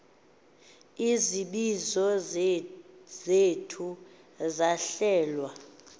izibizo zithe zahlelwa